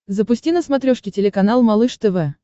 запусти на смотрешке телеканал малыш тв